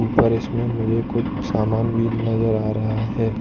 उपर इसमें मुझे कुछ सामान भी नजर आ रहा है।